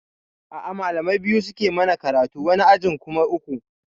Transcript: A'a malamai biyu suke yi mana karatu, wani ajin kuma uku